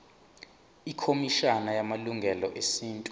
ikhomishana yamalungelo esintu